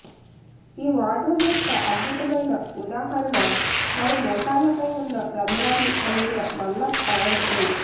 ఈ వార్డ్రోబ్ యొక్క అద్భుతమైన ఉదాహరణ వారి మోకాళ్లపై ఉన్న రంధ్రాలు కలిగిన నల్ల ప్యాంటు